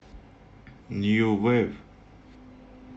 нью вейв